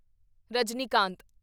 Rajinikanth